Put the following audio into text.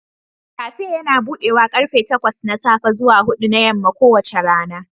Kafe yana buɗe karfe takwas na safe zuwa huɗu na yamma kowace rana